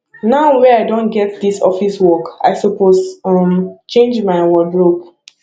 now wey i don get dis office work i suppose um change my wardrobe